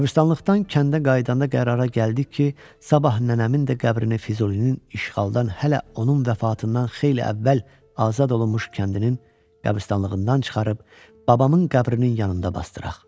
Qəbristanlıqdan kəndə qayıdanda qərara gəldik ki, sabah nənəmin də qəbrini Füzulinin işğaldan hələ onun vəfatından xeyli əvvəl azad olunmuş kəndinin qəbristanlığından çıxarıb babamın qəbrinin yanında basdıraq.